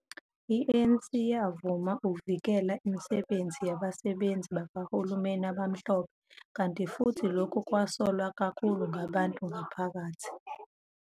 I-ANC yavuma ukuvikela imisebenzi yabasebenzi bakahulumeni abamhlophe, kanti futhi lokhu kwasolwa kakhulu ngabantu ngaphakathi.